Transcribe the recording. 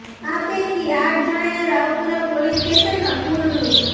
આ પૈકી આઠ જણાએ રાવપુરા પોલીસ સ્ટેશનમાં કુલ રૂ